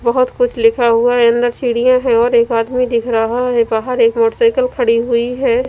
बहुत कुछ लिखा हुआ है अंदर सीढ़ियाँ है और एक आदमी दिख रहा हैं बाहर एक मोटरसाइकिल खड़ी हुई हैं।